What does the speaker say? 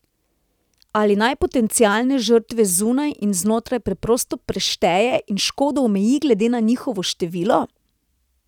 Ali naj potencialne žrtve zunaj in znotraj preprosto prešteje in škodo omeji glede na njihovo število?